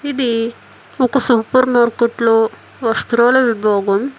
ఇది ఒక supermarket లో వస్త్రాల విభాగం.